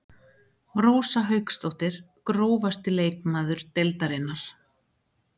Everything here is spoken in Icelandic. Rósa Hauksdóttir Grófasti leikmaður deildarinnar?